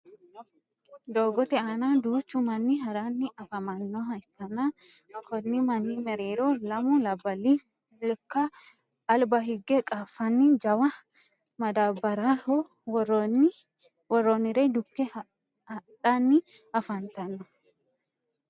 doogote aanna duuchu manni haranni afamanoha ikanna konni manni mereero lammu labali lekka aliba higge qaafanni jawa madabaraho woroonire dukke hadhanni afantanno